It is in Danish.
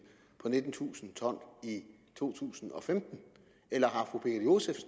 på nittentusind t i 2015 eller